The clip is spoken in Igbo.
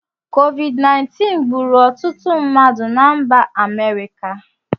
COVID-19 gbùrù ọtụtụ mmadụ na mba America